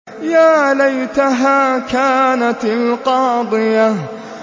يَا لَيْتَهَا كَانَتِ الْقَاضِيَةَ